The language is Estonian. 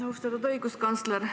Austatud õiguskantsler!